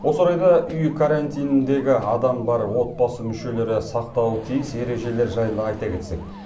осы орайда үй карантиніндегі адам бар отбасы мүшелері сақтауы тиіс ережелер жайлы айта кетсек